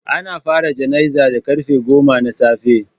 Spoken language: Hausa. Ana fara jana'izar da karfe goma na safe